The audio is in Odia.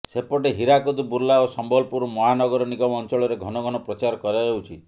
ସେପଟେ ହୀରାକୁଦ ବୁର୍ଲା ଓ ସମ୍ବଲପୁର ମହାନଗର ନିଗମ ଅଞ୍ଚଳରେ ଘନ ଘନ ପ୍ରଚାର କରାଯାଉଛି